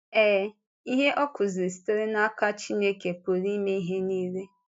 Ee, ihe ọ kụ̀ziri sitere n’aka Chineke Pụrụ Ịme Ihe Nile.